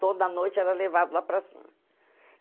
Toda noite era levado lá para cima.